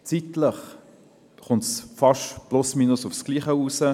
Zeitlich kommt es mehr oder weniger auf dasselbe heraus.